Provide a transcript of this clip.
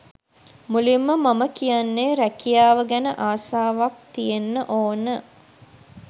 මුලින්ම මම කියන්නේ රැකියාව ගැන ආසාවක් තියෙන්න ඕන.